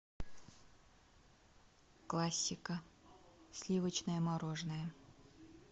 классика сливочное мороженое